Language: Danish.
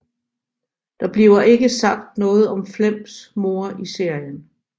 Der bliver ikke sagt noget om Flems mor i serien